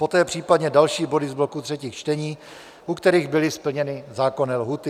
Poté případně další body z bloku třetích čtení, u kterých byly splněny zákonné lhůty.